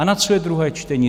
A na co je druhé čtení?